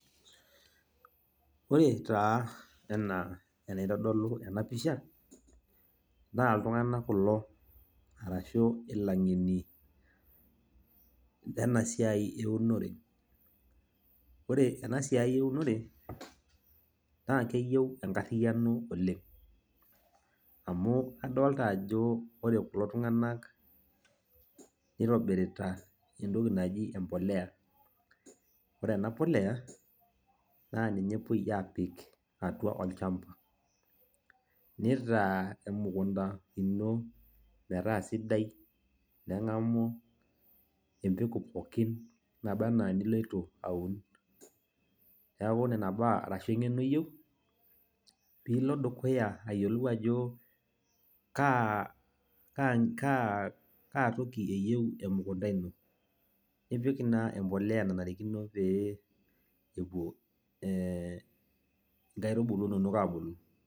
Ore taa enaa enaitodolu enapisha, naa iltung'anak kulo arashu ilang'eni lenasiai eunore. Ore enasiai eunore, naa keyieu enkarriyiano oleng'. Amu adolta ajo ore kulo tung'anak, nitobirita entoki naji empolea. Ore ena polea, naa ninye epoi aapik atua olchamba. Nitaa emukunda metaa sidai, neng'amu empeku pookin nabaa enaa eniloito aun. Neeku nena baa arashu eng'eno iyieu, piilo dukuya ayiolou ajo kaa toki eyieu emukunda ino. Nipik naa empolea nanarikino pee epuo inkaitubulu inonok abulu.